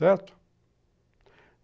Certo?